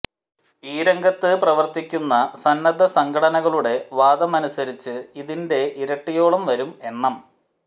ഈ രംഗത്ത് പ്രവര്ത്തിക്കുന്ന സന്നദ്ധ സംഘടനകളുടെ വാദമനുസരിച്ച് ഇതിന്െറ ഇരട്ടിയോളം വരും എണ്ണം